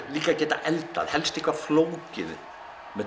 líka að geta eldað helst eitthvað flókið með